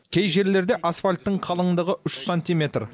кей жерлерде асфальттың қалыңдығы үш сантиметр